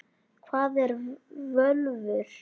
Hvað eru völvur?